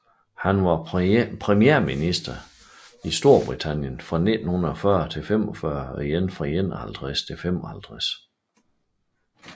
Han var premierminister i Storbritannien fra 1940 til 1945 og igen fra 1951 til 1955